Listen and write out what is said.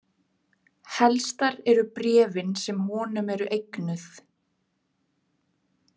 Helstar eru bréfin sem honum eru eignuð.